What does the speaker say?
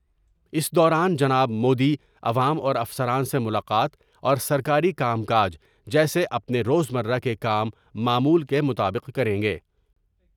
اس دوران جناب مودی عوام اور افسران سے ملاقات اور سرکاری کام کاج جیسے اپنے روزمرہ کے کام معمول کے مطابق کریں گے ۔